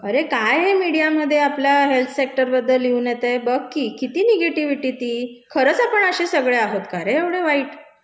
अरे काय हे मीडियामधे आपलं हेल्थ सेक्टर बद्दल लिहून येतय, बघ की, किती निगेटीविटी ती? खरंच आपण अशे सगळे आहोत का रे, एवढे वाईट?